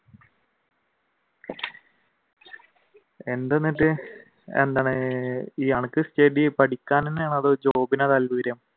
എന്താണ് അനക്ക് ഈ stage ഇൽ പഠിക്കാൻ തന്നെയാണോ അതോ job നാണോ